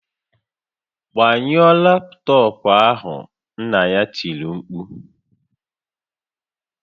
"Gbanyụọ laptọọpụ ahụ!" Nna ya tiri mkpu "